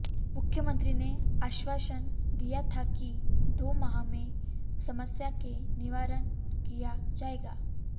मुख्यमंत्री ने आश्वासन दिया था कि दो माह में समस्या के निवारण किया जाएगा